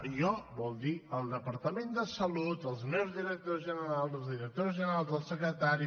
jo vol dir el departament de salut els meus directors generals els directors generals dels secretaris